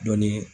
Dɔnni